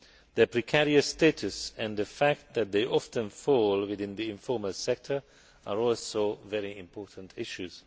Their precarious status and the fact that they often fall within the informal sector are also very important issues.